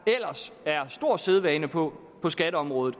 ellers er sædvane på på skatteområdet